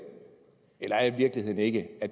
eller er virkeligheden ikke at